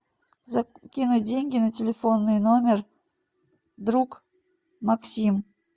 закинуть деньги на телефонный номер друг максим